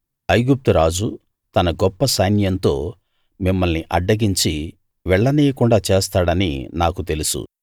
ఐగుప్తు రాజు తన గొప్ప సైన్యంతో మిమ్మల్ని అడ్డగించి వెళ్ళనీయకుండా చేస్తాడని నాకు తెలుసు